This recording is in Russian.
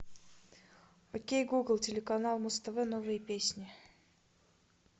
окей гугл телеканал муз тв новые песни